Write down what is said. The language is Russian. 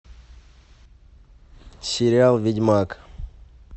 сериал ведьмак